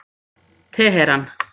Teheran